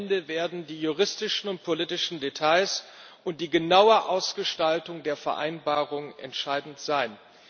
Am Ende werden die juristischen und politischen Details und die genaue Ausgestaltung der Vereinbarung entscheidend sein.